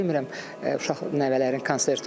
Demirəm uşaq nəvələrin konserti olsun.